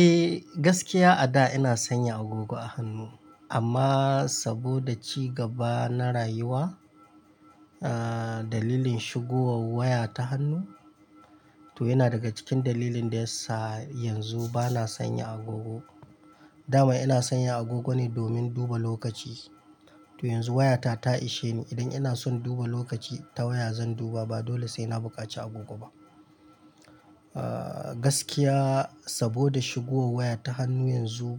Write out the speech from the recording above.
Eh, gaskiya a da ina sanya agogo a hannu amma saboda ci gaba na rayuwa, ah dalilin shigowan waya ta hannu to yana daga cikin dalilin da yasa yanzu bana sanya agogo. Da ma ina sanya agogo ne domin duba lokaci, to yanzu waya ta ta ishe ni. In ina son duba lokaci ta waya zan duba ba dole sai na bukaci agogo ba. Aa gaskiya saboda shigowa waya ta hannu yanzu